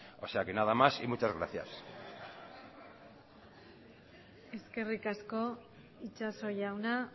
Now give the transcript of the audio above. nada más y muchas gracias eskerrik asko itxaso jauna